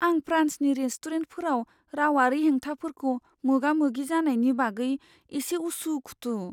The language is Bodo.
आं फ्रान्सनि रेस्टुरेन्टफोराव रावारि हेंथाफोरखौ मोगा मोगि जानायनि बागै एसे उसु खुथु।